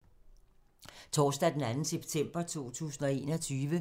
Torsdag d. 2. september 2021